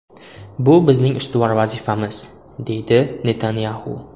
Bu bizning ustuvor vazifamiz”, deydi Netanyaxu.